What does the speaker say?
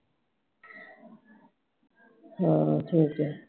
ਹਾਂ ਠੀਕ ਐ